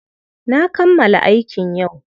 Na kammala aikin yau.